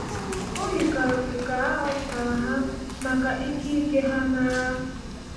O yikarịrị ka a họpụtara ha maka ike ike ha n’agha.